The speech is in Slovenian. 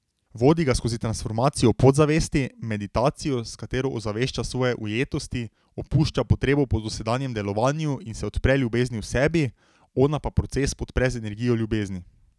Vodi ga skozi transformacijo podzavesti, meditacijo, s katero ozavešča svoje ujetosti, opušča potrebo po dosedanjem delovanju in se odpre ljubezni v sebi, ona pa proces podpre z energijo ljubezni.